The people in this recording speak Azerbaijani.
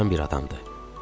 bir adamdır.